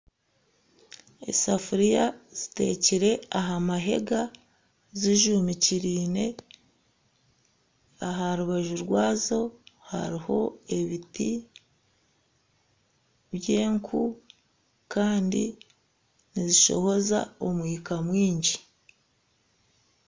Esafiriya zitekire aha mahega zijumikiriine. Aharubaju rwazo hariho ebiti by'enku Kandi nizishohoza omwika mwingi.